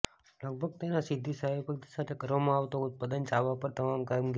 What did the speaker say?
લગભગ તેના સીધી સહભાગિતા સાથે કરવામાં ઉત્પાદનો ચાવવા પર તમામ કામગીરી